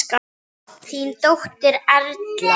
Þín dóttir Erla.